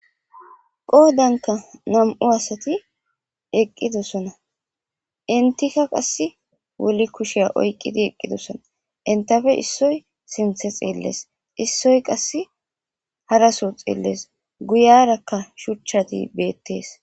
Qoodanka nam'u asati eqqidosonna.entika qassi woli kusha oykidi eqidosona. entape esoy sinthe xeeles,issoy qassi hara soo xeeles. Guyaraka shuchati beetes.